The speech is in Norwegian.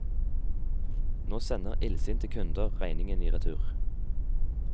Nå sender illsinte kunder regningen i retur.